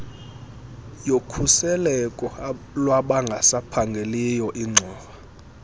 yokhuseleko lwabangasaphangeliyo ingxowa